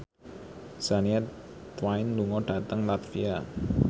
Shania Twain lunga dhateng latvia